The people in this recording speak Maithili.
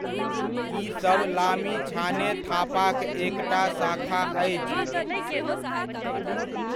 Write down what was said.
ई सभ लामिछाने थापाक एकटा शाखा अछि।